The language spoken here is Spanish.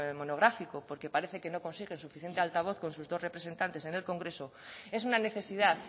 monográfico porque parece que no consiguen suficiente altavoz con sus dos representantes en el congreso es una necesidad